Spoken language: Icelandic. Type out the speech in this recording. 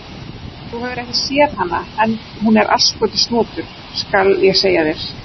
Þú hefur ekki séð hana, en hún er asskoti snotur, skal ég segja þér.